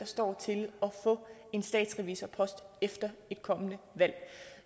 står til at få en statsrevisorpost efter et kommende valg